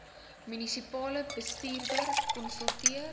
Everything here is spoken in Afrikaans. munisipale bestuurder konsulteer